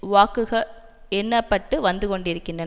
வாக்குக எண்ண பட்டு வந்துகொண்டிருந்தன